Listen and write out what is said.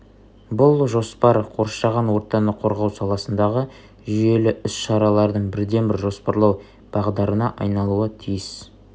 бұл жоспар қоршаған ортаны қорғау саласындағы жүйелі іс-шаралардың бірден-бір жоспарлау бағдарына айналуы тиіс